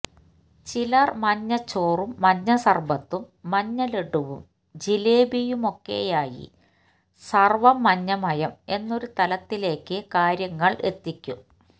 ചിലർ മഞ്ഞച്ചോറും മഞ്ഞസർബത്തും മഞ്ഞലഡുവും ജിലേബിയുമൊക്കെയായി സർവം മഞ്ഞമയം എന്നൊരു തലത്തിലേക്ക് കാര്യങ്ങൾ എത്തിക്കും